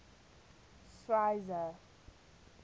schweizer